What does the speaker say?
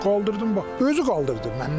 Qaldırdım bax, özü qaldırdı məndən əvvəl.